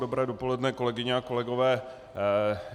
Dobré dopoledne, kolegyně a kolegové.